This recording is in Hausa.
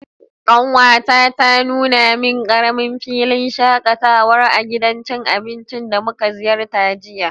kanwata ta nuna min karamin filin shakatawa a gidan cin abinci da muka ziyarta jiya.